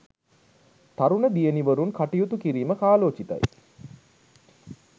තරුණ දියණිවරුන් කටයුතු කිරීම කාලෝචිතයි.